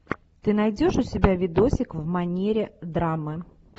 ты найдешь у себя видосик в манере драмы